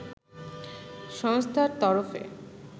সংস্থার তরফে